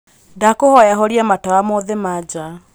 ndakūhoya horia matawa mothe ma jaa